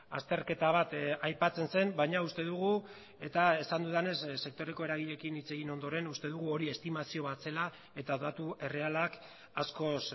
azterketa bat aipatzen zen baina uste dugu eta esan dudanez sektoreko eragileekin hitz egin ondoren uste dugu hori estimazio bat zela eta datu errealak askoz